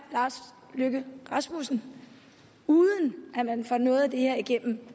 lars løkke rasmussen uden at man får noget af det her igennem